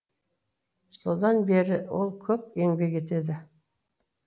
содан бері ол көп еңбек етеді